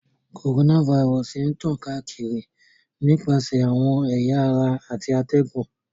Coronavirus ń tan kaakiri nipasẹ awọn ẹ̀ya ara ti atẹgun.